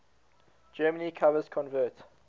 germany covers convert